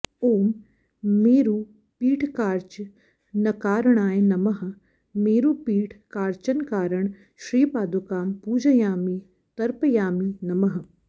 ॐ मेरुपीठकार्चनकारणाय नमः मेरुपीठकार्चनकारण श्रीपादुकां पूजयामि तर्पयामि नमः